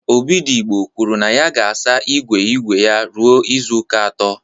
Obidigbo kwuru na ya ga-asa igwe igwe ya ruo izuụka atọ